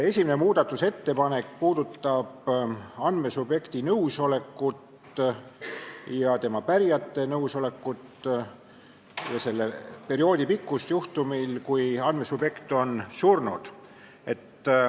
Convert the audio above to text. Esimene muudatusettepanek puudutab andmesubjekti nõusolekut ja tema pärijate nõusolekut ning selle perioodi pikkust juhul, kui andmesubjekt on surnud.